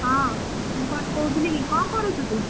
ହଁ ମୁଁ କଣ କହୁଥିଲି କି କଣ କରୁଛୁ ତୁ?